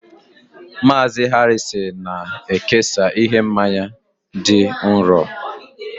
Mazị Harrison na-ekesa ihe mmanya dị nro